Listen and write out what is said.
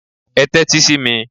Ẹ tẹ́tí sí mi!